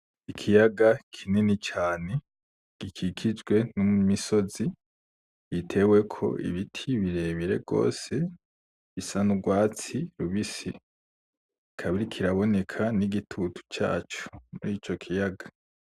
Ikiyaga kinini cane gikikijwe n’imisozi iteweko ibiti birebire gose bisa n’urwatsi rubisi ikaba iriko iraboneka n’igitutu caco murico kiyaga.